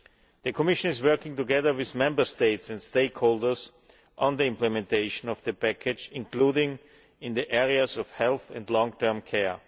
The Commission is working together with Member States and stakeholders on the implementation of the Package, including in the areas of health and long term care.